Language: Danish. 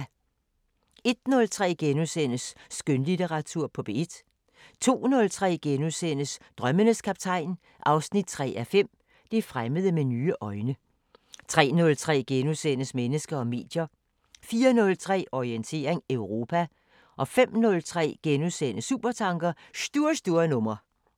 01:03: Skønlitteratur på P1 * 02:03: Drømmenes Kaptajn 3:5 – Det fremmede med nye øjne * 03:03: Mennesker og medier * 04:03: Orientering Europa 05:03: Supertanker: Stur, stur nummer